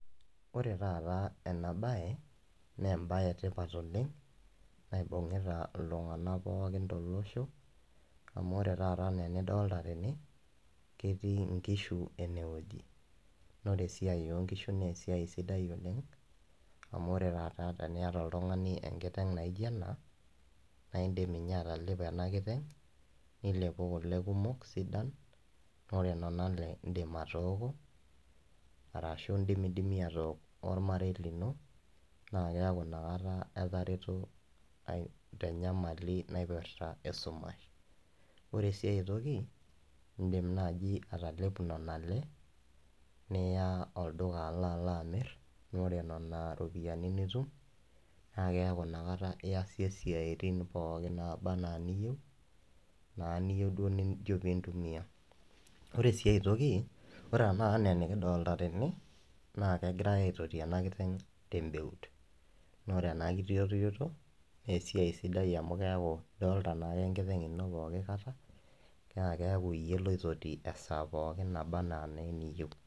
Ore taata ena bae, naa embae etipat oleng naibung'ita iltung'anak pooki tolosho amu ore taafa enaa enidolita tene, ketii nkishu enewueji. Naa ore esiai oo nkishu naa esiai sidai oleng amu ore taata teniata oltung'ani enkiteng naijo ena, naindim ninye atalepo ena kiteng nilepu kule kumok. Ore nena ale iindim atooko arashu indimidimi aatook ormarei lino naa keaku inakata etareto tenyamali naipirta esumash. Ore ae toki, indim naaji atalepu nena ale, niya olduka alaalo amirr, naa ore nena ropiyiani nitum naa keaku inakata iasie isiaitin pookin naaba enaa iniyieu naa niyieu nijo piintumia. Ore si ae toki, ore tenakata enaa enekidolita tene, naa kegirae aitoti ena kiteng tembeut. Naa ore ena kitotioto naa esiai sidai amu keaku idolita naake enkiteng ino pooki kata naa keeku iyie loitoti esaa pooki naba anaa naa eniyieu